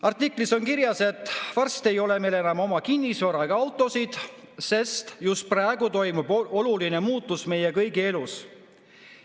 Artiklis on kirjas, et varsti ei ole meil enam oma kinnisvara ega autosid, sest just praegu toimub oluline muutus meie kõigi elus.